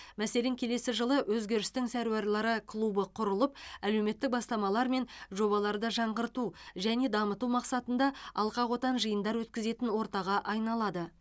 мәселен келесі жылы өзгерістің сәруарлары клубы құрылып әлеуметтік бастамалар мен жобаларды жаңғырту және дамыту мақсатында алқақотан жиындар өткізетін ортаға айналады